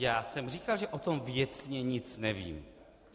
Já jsem říkal, že o tom věcně nic nevím.